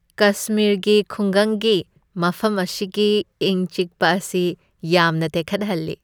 ꯀꯁꯃꯤꯔꯒꯤ ꯈꯨꯡꯒꯪꯒꯤ ꯃꯐꯝ ꯑꯁꯤꯒꯤ ꯏꯪ ꯆꯤꯛꯄ ꯑꯁꯤ ꯌꯥꯝꯅ ꯇꯦꯛꯈꯠꯍꯜꯂꯤ꯫